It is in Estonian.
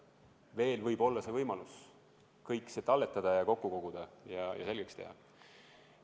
Veel võib olla võimalik kõik see talletada ja kokku koguda ja selgeks teha.